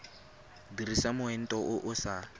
dirisa moento o o sa